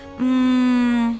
Mmm.